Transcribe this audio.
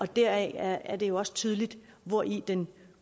deraf er det jo også tydeligt hvori den